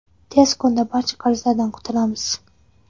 Tez kunda barcha qarzlardan qutulamiz.